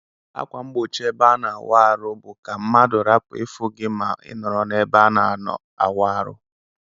Akwa mgbo chi ebe ana awụ arụ bu ka mmadu rapu ifụ gi ma inọrọ na ebe onọ awụ aru.